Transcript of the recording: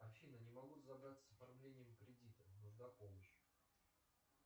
афина не могу разобраться с оформлением кредита нужна помощь